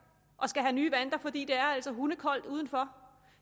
og skal have nye vanter fordi det altså er hundekoldt udenfor